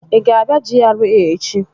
Ị ga-abịa GRA echi?